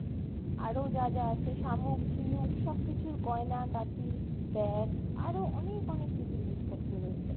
আরো যা যা আছে শামুক ঝিনুক সব কিছুর গয়না গাটি, beg আরো অনেক অনেক কিছু জিনিস পত্র রয়েছে